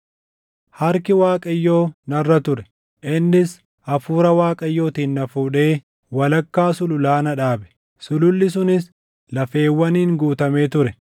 Harki Waaqayyoo narra ture; innis Hafuura Waaqayyootiin na fuudhee, walakkaa sululaa na dhaabe; sululli sunis lafeewwaniin guutamee ture.